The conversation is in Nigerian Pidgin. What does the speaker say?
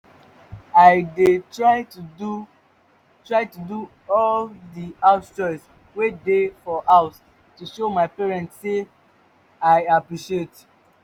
i dey try to do try to do all the house chores wey dey for house to show my parents say i appreciate